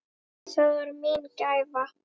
Það var mín gæfa.